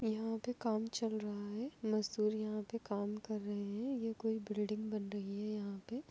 यहाँ पे काम चल रहा है। मजदूर यहाँ पे काम कर रहे है। ये कोई बिल्डिंग बन रही है यहाँ पे ।